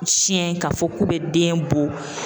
Siyɛn ka fɔ k'u bɛ den bɔ.